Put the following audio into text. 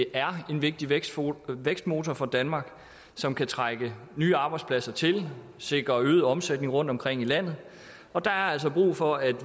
er en vigtig vækstmotor vækstmotor for danmark som kan trække nye arbejdspladser til og sikre øget omsætning rundtomkring i landet og der er altså brug for at